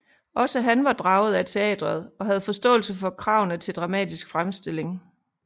Også han var draget af teatret og havde forståelse for kravene til dramatisk fremstilling